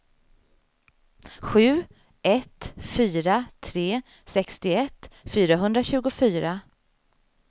sju ett fyra tre sextioett fyrahundratjugofyra